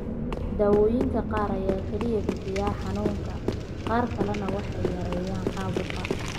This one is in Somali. Daawooyinka qaar ayaa kaliya bixiya xanuunka; qaar kalena waxay yareeyaan caabuqa.